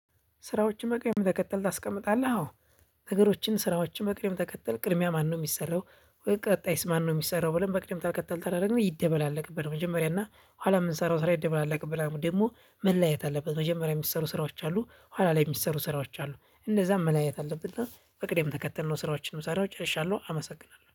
ስራዎችን በቅርብ የምትቀጥል ታስቀምጣለህ? አዎ ነገሮችን ስራዎችን በቅደም ተከተል ቅድሚያ ማነው ሚሰራው? ቀጣይስ ማነው ሚሰራው ብለን በቅድም ተከተል ታደርገናለህ። ይደበላለቅብን መጀመሪያ እና ኋላ ምንሰራው? ስራ ይደበላለቅብናል ደግሞ መለያየት አለበት። መጀመሪያ የሚሰሩ ስራዎች አሉ ኋላ ላይ የሚሰሩ ስራዎች አሉ። እንደዛም መለያየት አለብን። እና በቅድም ተከተልነው ስራዎችን መሳሪያዎች እጨርሻለሁ። አመሰግናለሁ